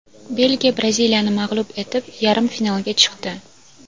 Belgiya Braziliyani mag‘lub etib, yarim finalga chiqdi.